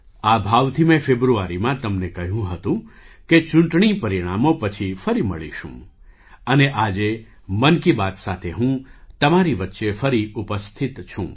આ ભાવથી મેં ફેબ્રુઆરીમાં તમને કહ્યું હતું કે ચૂંટણી પરિણામો પછી ફરી મળીશું અને આજે 'મન કી બાત' સાથે હું તમારી વચ્ચે ફરી ઉપસ્થિત છું